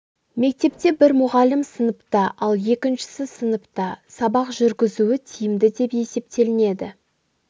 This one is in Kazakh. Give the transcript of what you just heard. мектепте бір мұғалім сыныпта ал екіншісі сыныпта сабақ жүргізуі тиімді деп есептелінеді